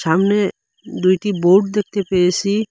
সামনে দুইটি বোর্ড দেখতে পেয়েসি।